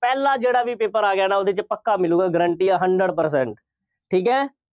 ਪਹਿਲਾ ਜਿਹੜਾ ਵੀ paper ਆ ਗਿਆ ਨਾ, ਉਹਦੇ 'ਚ ਪੱਕਾ ਮਿਲੂਗਾ, guarantee ਹੈ hundred percent ਠੀਕ ਹੈ।